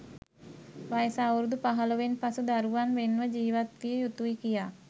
වයස අවුරුදු පහළොවෙන් පසු දරුවන් වෙන් ව ජීවත්විය යුතුයි කියා.